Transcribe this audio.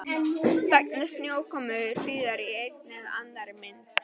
Vegna snjókomu og hríðar í einni eða annarri mynd.